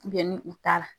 ni u t'a la